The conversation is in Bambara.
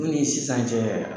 o dun ni sisan cɛ.